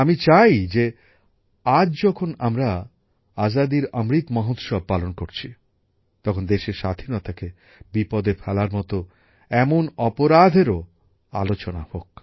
আমি চাই যে আজ যখন আমরা আজাদীর অমৃত মহোৎসব পালন করছি তখন দেশের স্বাধীনতাকে বিপদে ফেলার মতো এমন অপরাধেরও আলোচনা হোক